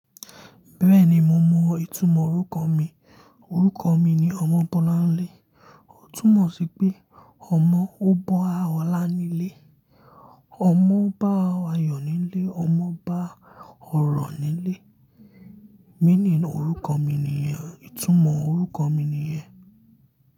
Bẹ́ẹ̀ni, mo mọ ìtumọ̀ orúkọ mi. Orúkọ mi ni Ọmọbọ́láńlé. Ó túmọ̀ sí pé ọmọ tó bá ọlá nílé, ọmọ bá ayọ̀ nílé, ọmọ bá ọ̀rọ̀ nílé. Meaning orúkọ mi nìyẹn, ìtumọ̀ orúkọ mi nìyẹn.